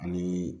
Ani